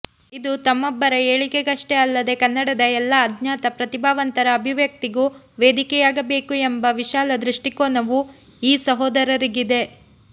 ಇದು ತಮ್ಮೊಬ್ಬರ ಏಳಿಗೆಗಷ್ಟೆ ಅಲ್ಲದೇ ಕನ್ನಡದ ಎಲ್ಲ ಅಜ್ಞಾತ ಪ್ರತಿಭಾವಂತರ ಅಭಿವ್ಯಕ್ತಿಗೂ ವೇದಿಕೆಯಾಗಬೇಕು ಎಂಬ ವಿಶಾಲ ದೃಷ್ಟಿಕೋನವೂ ಈ ಸಹೋದರರಿಗಿದೆ